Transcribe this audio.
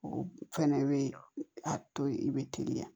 O fɛnɛ be a to ye i be teliya